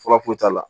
Fura foyi t'a la